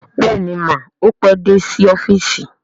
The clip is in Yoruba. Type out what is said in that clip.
Bẹ́ẹ̀ni mà, ó pé dé sí ọ́fíìsì